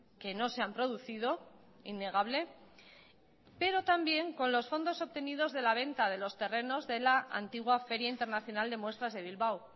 que no se han producido innegable pero también con los fondos obtenidos de la venta de los terrenos de la antigua feria internacional de muestras de bilbao